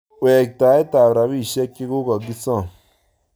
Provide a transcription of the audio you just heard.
Wektaet ab rapishek chekokokisom